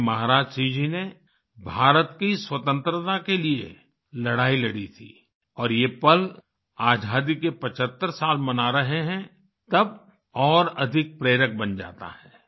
भाई महाराज सिंह जी ने भारत की स्वतंत्रता के लिए लड़ाई लड़ी थी और ये पल आज़ादी के 75 साल मना रहे हैं तब और अधिक प्रेरक बन जाता है